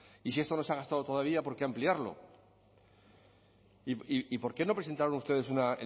y si esto no se ha gastado todavía por qué ampliarlo y por qué no presentaron ustedes una